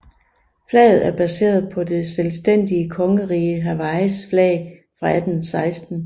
Flaget er baseret på det selvstændige Kongeriget Hawaiis flag fra 1816